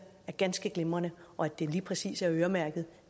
er ganske glimrende og at det lige præcis er øremærket